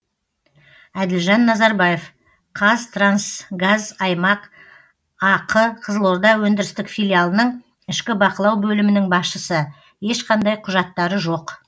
әділжан назарбаев қазтрансгазаймақ ақ қызылорда өндірістік филиалының ішкі бақылау бөлімінің басшысы ешқандай құжаттары жоқ